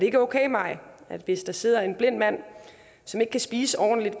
ikke okay maj at hvis der sidder en blind mand som ikke kan spise ordentligt